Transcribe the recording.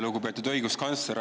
Lugupeetud õiguskantsler!